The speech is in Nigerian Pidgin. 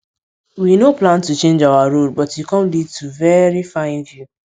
we nor plan to change our road but e com lead to very fine view